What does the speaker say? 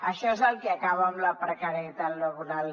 això és el que acaba amb la precarietat laboral